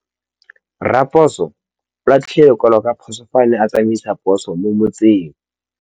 Raposo o latlhie lekwalô ka phosô fa a ne a tsamaisa poso mo motseng.